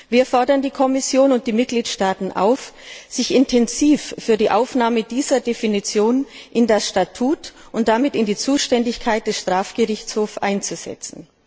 Wir fordern die Kommission und die Mitgliedstaaten auf, sich intensiv für die Aufnahme dieser Definition in das Statut und damit in die Zuständigkeit des Strafgerichtshofs einzusetzen.